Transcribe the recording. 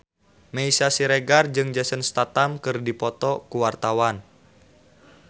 Meisya Siregar jeung Jason Statham keur dipoto ku wartawan